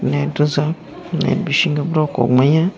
net rijak net bisingo borok kogmaya.